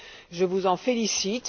Je vous en félicite.